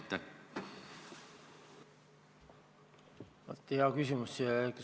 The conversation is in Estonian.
Hea küsimus!